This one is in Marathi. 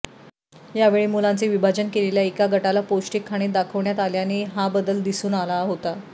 यावेळी मुलांचे विभाजन केलेल्या एका गटाला पौष्टिक खाणे दाखवण्यात आल्याने हा बदल दिसून आला होता